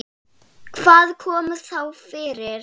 Hvað kom þá fyrir?